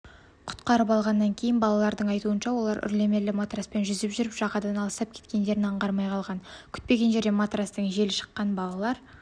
құтқарып алғаннан кейін балалардың айтуынша олар үрлемелі матраспен жүзіп жүріп жағадан алыстап кеткендерін аңғармай қалған күтпеген жерден матрастың желі шыққан балалар